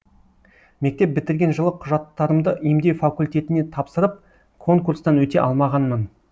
мектеп бітірген жылы құжаттарымды емдеу факультетіне тапсырып конкурстан өте алмағанмын